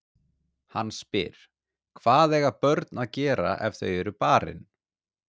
Hann spyr: Hvað eiga börn að gera ef þau eru barin?